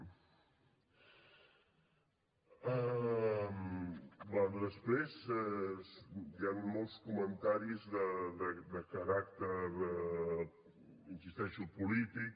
bé després hi han molts comentaris de caràcter hi insisteixo polític